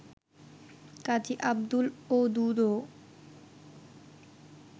Kazi Abdul ওদুদও